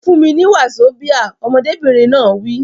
Fún mi ní wazobia! Ọmọdébìnrin náà wí.